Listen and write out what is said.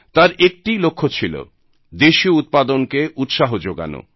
তার একটি লক্ষ্য ছিল দেশীয় উৎপাদনকে উৎসাহ যোগানো